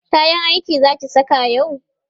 kayan aiki Zaki saka yau?